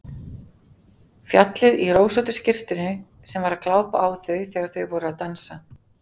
Fjallið í rósóttu skyrtunni sem var að glápa á þau þegar þau voru að dansa!